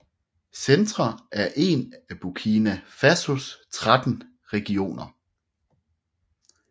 Centre er en af Burkina Fasos 13 regioner